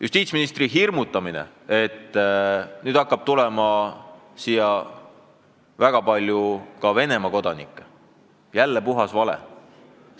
Justiitsministri hirmujutt, et nüüd hakkab siis tulema väga palju Venemaa kodanikke – jälle puhas vale!